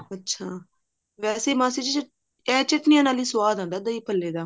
ਅੱਛਾ ਵੇਸੇ ਮਾਸੀ ਜੀ ਇਹ ਚਟਨੀਆਂ ਨਾਲ ਹੀ ਸਵਾਦ ਆਉਂਦਾ ਦਹੀਂ ਭੱਲੇ ਦਾ